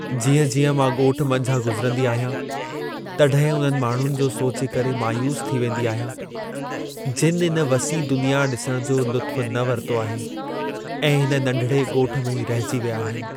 जीअं-जीअं मां ॻोठ मंझां गुज़िरंदी आहियां, तॾहिं उन्हनि माण्हुनि जो सोचे करे मायूस थी वेंदी आहियां जिनि इन वसीउ दुनिया ॾिसण जो लुत्फ़ु न वरितो आहे ऐं हिन नंढिड़े ॻोठ में ई रहिजी विया आहिनि।